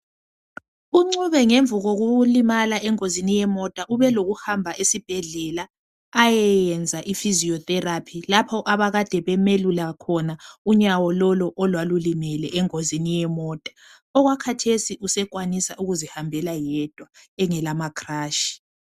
uncube ngemva kokulimala engozini yemota ebehamba esibhedlela ayeyenza physiotherapy lapho abekade bemuyelula unyawo olwalimala kuli ngozi yemonta khathesi sekwazi ukuzihambela yedwa engela ama crush